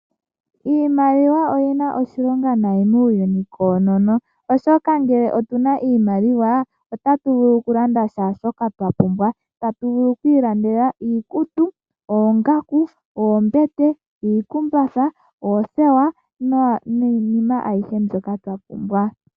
Iimaliwa oyina oshilonga nayi muuyuni koonono oshoka ngele otuna iimaliwa otatu vulu okulanda kaashoka twapumbwa tatu vulu oku ilandela iikutu, oongaku, oombete, iikumbatha, oothewa niinima ayihe ndyoka twapumbwa.